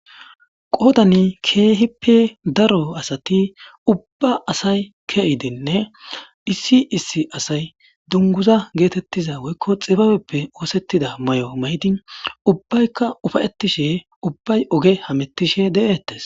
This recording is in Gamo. Qoodani keehippe daro asati ubba asay ke7idenne issi issi asay dunguza geetettiza woykko xibabeppe oosettida may7o maydi ubbaykka ufayettishe ubbay oge hamettishe de7ettes.